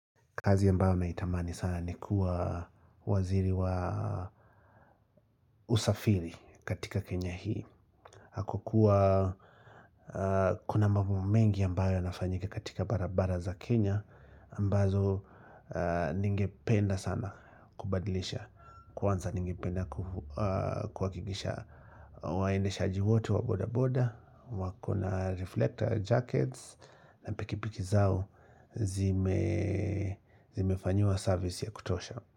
Kazi ambayo naitamani sana ni kuwa waziri wa usafiri katika Kenya hii kwa kuwa kuna mambo mengi ambayo yanafanyika katika barabara za Kenya ambazo ningependa sana kubadilisha Kwanza ningependa kuhakikisha waendeshaji wote wa boda boda wakona reflector jackets na pikipiki zao zime zimefanyiwa service ya kutosha.